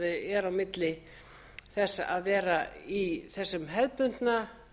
er á milli þess að vera í þessum hefðbundna